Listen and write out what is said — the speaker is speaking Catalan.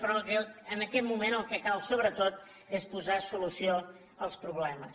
però en aquest moment el que cal sobretot és posar solució als problemes